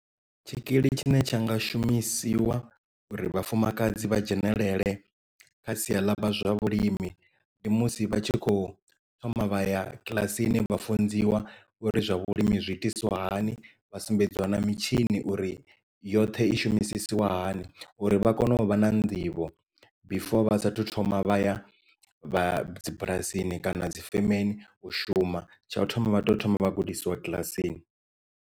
Tshikili tshine tsha nga shumisiwa uri vhafumakadzi vha dzhenelele kha sia ḽa amba zwa vhulimi ndi musi vha tshi khou thoma vhaya kiḽasini vha funziwa uri zwa vhulimi zwiitisiwahani vha sumbedziwa na mitshini uri yoṱhe i shumisiswa hani uri vha kone u vha na nḓivho before vha sathu thoma vha ya vha dzibulasini kana dzi femeni u shuma tsha u thoma vha tea u thoma vha gudisiwa kiḽasini.